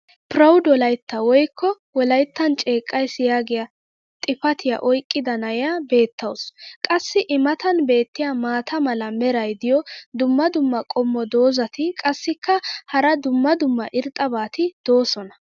"proud wolaita" woykko wolayttan ceeqays yaagiya xifatiya oyqqida na'iya beetawusu. qassi i matan beetiya maata mala meray diyo dumma dumma qommo dozzati qassikka hara dumma dumma irxxabati doosona.